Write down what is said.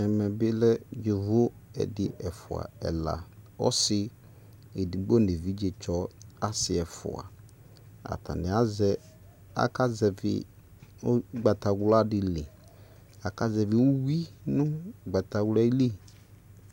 Ɛmɛ be lɛ yovo ɛde, ɛfua, ɛla Yobo no evidzstsɔ ɛfua Atane azɛ, aka zɛvi ugbatawla de liAla zɛvi uwi no ugbataqlɛ li